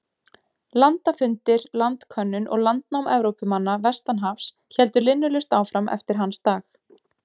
Landafundir, landkönnun og landnám Evrópumanna vestan hafs héldu linnulaust áfram eftir hans dag.